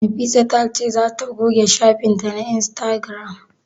Nafisa ta ce za ta goge shafin ta na Instagram?